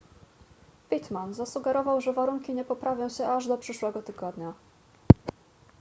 pittman zasugerował że warunki nie poprawią się aż do przyszłego tygodnia